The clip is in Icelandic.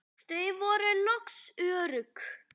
Þau voru loks örugg.